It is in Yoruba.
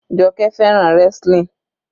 Joke fẹ́ràn wrestling.